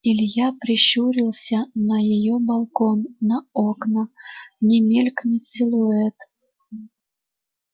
илья прищурился на её балкон на окна не мелькнёт силуэт